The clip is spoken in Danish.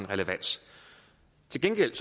relevans til gengæld